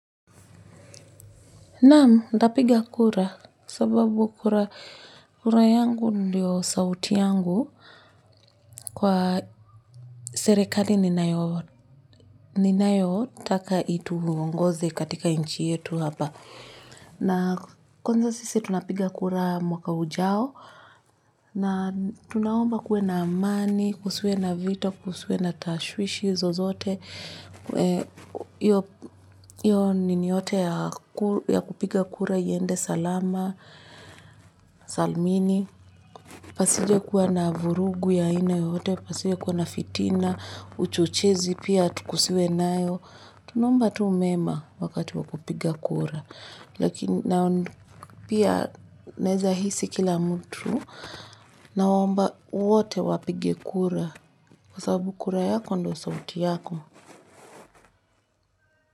Naam, nitapiga kura sababu kura yangu ndiyo sauti yangu kwa serekali ninayo taka itu ongoze katika inchi yetu hapa. Na kwanza sisi tunapiga kura mwaka ujao na tunaomba kuwe na amani, kusiwe na vita, kusiwe na tashwishi zozote. Hiyo nini yote ya kupiga kura iende salama, salmini pasiju kuwa na vurugu ya ina yote, pasiju kuwa na fitina, uchuchizi pia tukusiwe nayo. Tunaomba tu mema wakati wakupiga kura. Lakini pia naweza hisi kila mtu naomba wote wapige kura. Kwa sababu kura yako ndo sauti yako.